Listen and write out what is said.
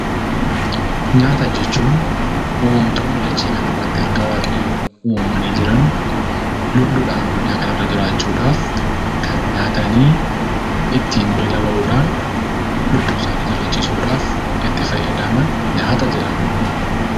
Nyaata jechuun uumamtoonni dachee kana irratti harka Waaqayyoon uumamanii jiran, lubbuudhaan addunyaa kana irra jiraachuu dhaaf kan nyaatanii ittiin beela bahuudhaan, lubbuu isaanii jiraachisuu dhaaf itti fayyadaman 'Nyaata' jedhama.